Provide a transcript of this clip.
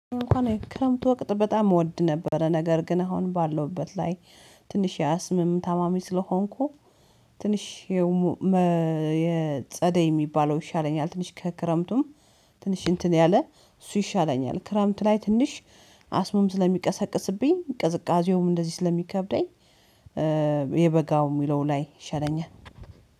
እንኳን የክረምት ወቅት በጣም እወድ ነበረ፤ ነገር ግን አሁን ባለሁበት ላይ ትንሽ የአስምም ታማሚ ስለሆንኩ፣ ትንሽ የጸደይ የሚባለው ይሻለኛል፤ ትንሽ ከክረምቱም ትንሽ እንትን ያለ እሱ ይሻለኛል። ክረምት ላይ ትንሽ አስሙም ስለሚቀሰቅስብኝ፣ ቅዝቃዜውም እንደዚህ ስለሚከብደኝ፣ የበጋው የሚለው ላይ ይሻለኛል